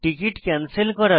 ticket cancel করা